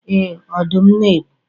Ee, Ọdụm na-egbu